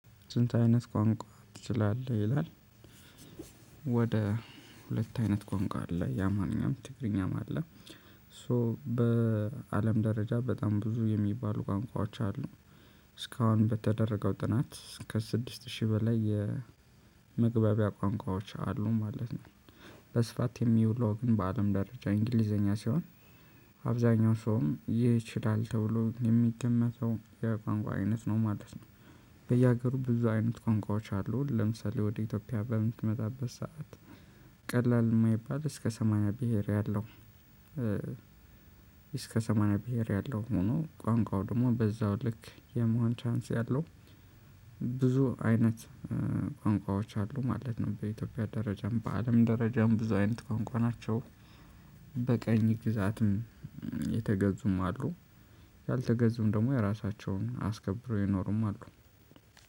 ስንት አይነት ቋንቋ ትችላለህ? ይላል። ወደ ሁለት አይነት ቋንቋ አለ የ አማርኛም ትግርኛም አለ። ሶ በአለም ደረጃ በጣም ብዙ የሚባሉ ቋንቋዎች አሉ። እስካሁን በተደረገው ጥናት ከስድስት ሺህ በላይ የመግባቢያ ቋንቋዎች አሉ ማለት ነው። በስፋት የሚውለው ግን በአለም ደረጃ እንግሊዘኛ ሲሆን። አብዛኛው ሰውም ይችላል ተብሎ የሚገመተው የቋንቋ አይነት ነው ማለት ነው። በየሀገሩ ብዙ አይነት ቋንቋዎች አሉ ለምሳሌ ወደ ኢትዮጵያ በምትመጣበት ሰዓት ቀላል የማይባል እስከ ሰማንያ ብሄር ያለው። እስከ ሰማንያ ብሄር ያለው ሆኖ ቋንቋው ደግሞ በዛው ልክ የመሆን ቻንስ ያለው። ብዙ አይነት ቋንቋዎች አሉ ማለት ነው። በኢትዮጵያ ደረጃም በአለም ደረጃም ብዙ አይነት ቋንቋ ናቸው። በቀኝ ግዛትም የተገዙም አሉ። ያልተገዙም ደግሞ የራሳቸውን አስከብረውም የኖሩም አሉ።